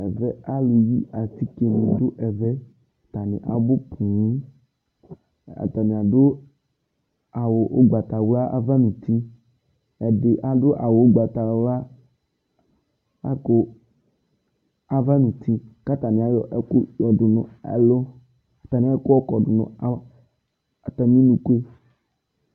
Ɛvɛ alʋ yi atikenɩ atanɩ abʋ poo Atanɩ adʋ awʋ ʋgbatawla ava n'uti, ɛdɩ adʋ awʋ ʋgbatawla lakʋ ava n'uti k'atanɩ ayɔ ɛkʋ yɔdʋ n'ɛlʋ, atanɩ nʋ atamɩ unuku yɛ